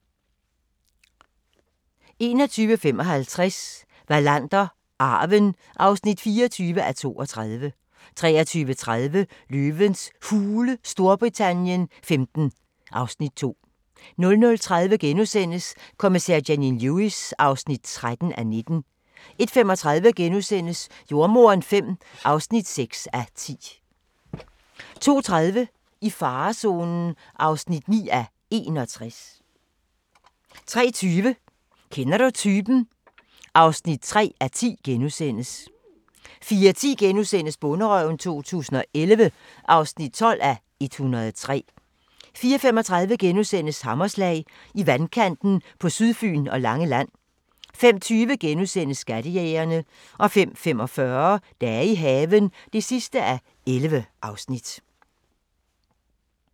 21:55: Wallander: Arven (24:32) 23:30: Løvens Hule Storbritannien XV (Afs. 2) 00:30: Kommissær Janine Lewis (13:19)* 01:35: Jordemoderen V (6:10)* 02:30: I farezonen (9:61) 03:20: Kender du typen? (3:10)* 04:10: Bonderøven 2011 (12:103)* 04:35: Hammerslag – I vandkanten på Sydfyn og Langeland * 05:20: Skattejægerne * 05:45: Dage i haven (11:11)